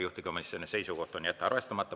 Juhtivkomisjoni seisukoht on jätta arvestamata.